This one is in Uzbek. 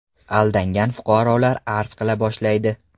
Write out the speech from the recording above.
Aldangan fuqarolar arz qila boshlaydi.